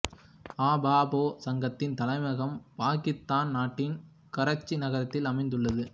அ பா பெ சங்கத்தின் தலைமையகம் பாக்கிதான் நாட்டின் கராச்சி நகரத்தில் அமைந்துள்ளது